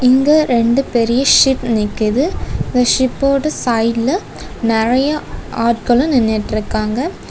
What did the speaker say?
இங்க ரெண்டு பெரிய சிப் நிக்குது இந்த ஷிப்போட சைட்ல நறைய ஆட்களும் நின்னுட்ருக்காங்க.